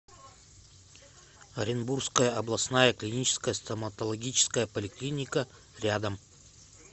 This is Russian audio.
оренбургская областная клиническая стоматологическая поликлиника рядом